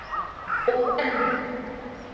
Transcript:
Og enn